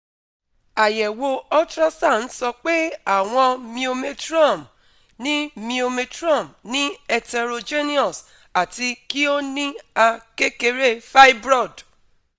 ayewo ultrasound sọ pe awọn myometrium ni myometrium ni heterogeneous ati ki o ni a kekere fibroid